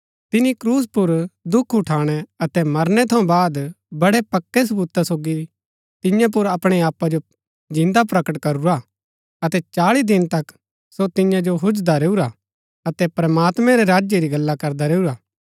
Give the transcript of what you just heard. तिनी क्रूस पुर दुख उठाणै अतै मरनै थऊँ बाद वडै़ पक्कै सबूता सोगी तियां पुर अपणै आपा जो जिन्दा प्रकट करूरा अतै चाळी दिन तक सो तियां जो हुजदा रैऊरा अतै प्रमात्मैं रै राज्य री गल्ला करदा रैऊरा